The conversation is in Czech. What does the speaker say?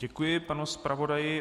Děkuji panu zpravodaji.